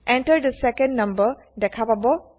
Enter the second number দেখা পাব